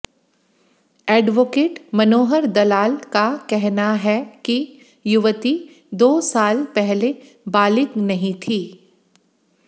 advocate Manohar Dalal का कहना है कि युवती दो साल पहले बालिग नहीं थी